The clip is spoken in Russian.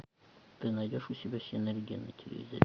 ты найдешь у себя синергия на телевизоре